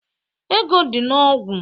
Ego dị na ogwu